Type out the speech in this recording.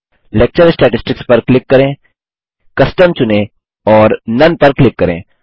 lecture statistics पर click करें custom चुनें और Noneपर क्लिक करें